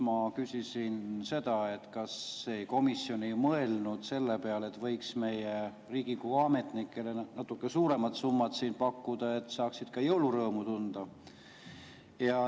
Ma küsisin seda, kas komisjon ei mõelnud selle peale, et võiks meie Riigikogu ametnikele natuke suuremat summat pakkuda, et nad saaksid ka jõulurõõmu tunda.